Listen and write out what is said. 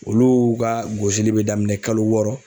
Olu ga gosili be daminɛ kalo wɔɔrɔ